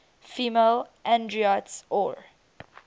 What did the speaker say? female androids or